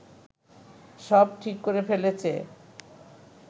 সব ঠিক করে ফেলেছে